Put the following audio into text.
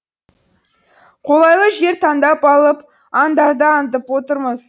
қолайлы жер таңдап алып аңдарды аңдып отырмыз